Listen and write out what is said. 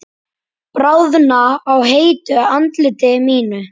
Bráðna á heitu andliti mínu.